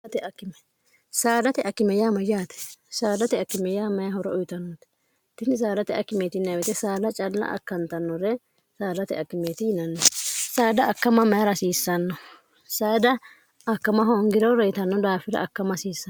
dtkimayyate saadate akkimey my horo uyitannote tini sadate ki saada calla akkantannore saadate akimeeti yinanni saada akkama mayi rasiissanno saada akkama hoongiro reyitanno daafida akkama hasiissan